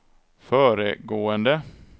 föregående